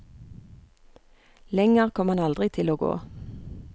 Lenger kom han aldri til å gå.